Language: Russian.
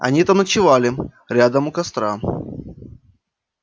они там ночевали рядом у костра